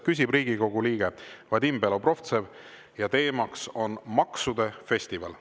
Küsib Riigikogu liige Vadim Belobrovtsev ja teema on maksude festival.